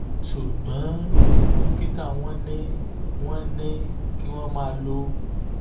ṣùgbọ́n dókítà wọ́n ní wọ́n ní kí wọ́n máa lo nitrocontin two